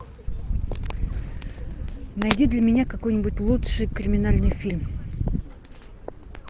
найди для меня какой нибудь лучший криминальный фильм